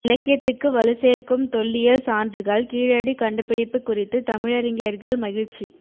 இலக்கியத்துக்கு வலுசேர்க்கும் தொல்லியல் சான்றுகள் கீழடி கண்டுபிடிப்பு குறித்து தமிழறிஞர்கள் மகிழ்ச்சி